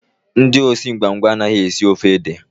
Ndị osi ngwa ngwa anaghị esi ofe ede